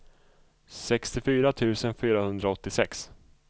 sextiofyra tusen fyrahundraåttiosex